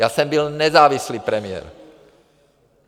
Já jsem byl nezávislý premiér.